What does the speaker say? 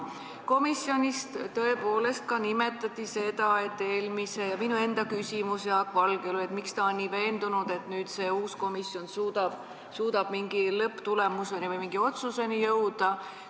Komisjonis tõepoolest nimetati seda ja ka minu enda küsimus Jaak Valgele oli see, miks ta on nii veendunud, et see uus komisjon suudab mingile lõpptulemusele või mingile otsusele jõuda.